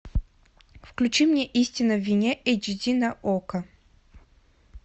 включи мне истина в вине эйч ди на окко